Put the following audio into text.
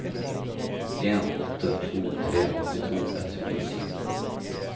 en åtte to tre åttito ett hundre og sytti